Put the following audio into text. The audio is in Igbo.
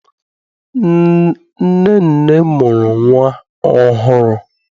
Nnenne mụrụ nnwa ọhụrụ.